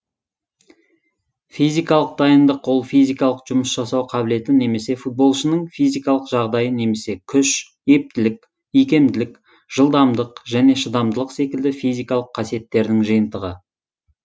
физикалық дайындық ол физикалық жұмыс жасау қабілеті немесе футболшының физикалық жағдайы немесе күш ептілік икемділік жылдамдылық және шыдамдылық секілді физикалық қасиеттердің жиынтығы